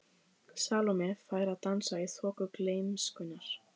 Salóme fær að dansa í þoku gleymskunnar.